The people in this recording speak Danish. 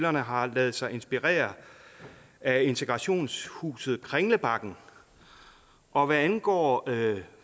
har ladet sig inspirere af integrationshuset kringlebakken og hvad angår